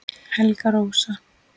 Helga Rósa